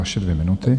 Vaše dvě minuty.